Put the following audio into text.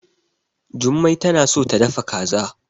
Jummai tana so ta dafa kaza.